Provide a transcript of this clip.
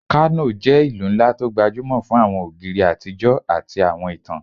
Kano jẹ́ ìlú ńlá tó gbajúmọ̀ fún àwọn ògiri àtijọ́ àti àwọn ìtàn